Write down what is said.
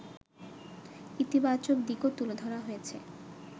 ইতিবাচক দিকও তুলে ধরা হয়েছে